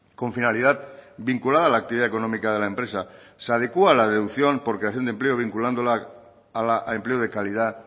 con finalidad vinculada a la actividad económica de la empresa se adecua la deducción por creación de empleo vinculándola al empleo de calidad